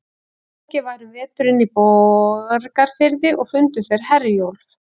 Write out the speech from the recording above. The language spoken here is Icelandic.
Flóki var um veturinn í Borgarfirði, og fundu þeir Herjólf.